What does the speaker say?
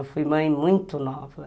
Eu fui mãe muito nova.